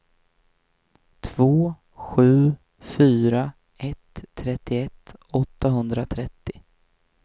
två sju fyra ett trettioett åttahundratrettio